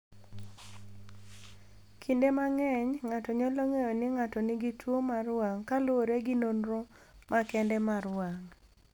"Kinde mang’eny, ng’ato nyalo ng’eyo ni ng’ato nigi tuwo mar wang’ kaluwore gi nonro makende mar wang’."